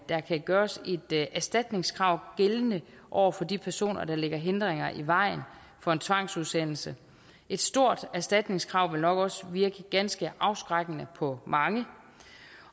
der kan gøres et erstatningskrav gældende over for de personer der lægger hindringer i vejen for en tvangsudsendelse et stort erstatningskrav vil nok også virke ganske afskrækkende på mange